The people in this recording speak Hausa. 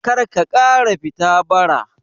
Karka ƙara fita bara